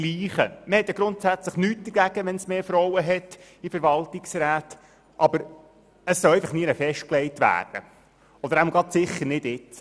Man habe ja grundsätzlich nichts gegen mehr Frauen in Verwaltungsräten, das soll doch nirgendwo festgelegt werden, aber jedenfalls nicht gerade jetzt.